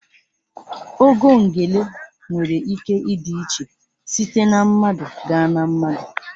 Ogo ngele nwere ike ịdị iche site na mmadụ gaa na mmadụ.